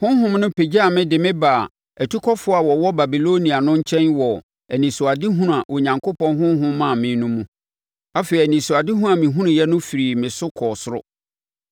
Honhom no pagyaa me de me baa atukɔfoɔ a wɔwɔ Babilonia no nkyɛn wɔ anisoadehunu a Onyankopɔn Honhom maa me no mu. Afei anisoadeɛ a mehunuiɛ no firii me so kɔɔ soro.